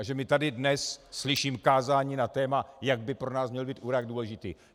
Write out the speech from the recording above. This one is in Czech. A že my tady dnes - slyším kázání na téma, jak by pro nás měl být Irák důležitý.